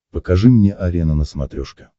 покажи мне арена на смотрешке